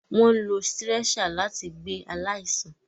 Wọn ń ló stretcher láti gbé aláìsàn